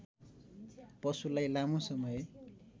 पशुलाई लामो समय